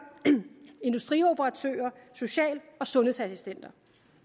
industrioperatører og social og sundhedsassistenter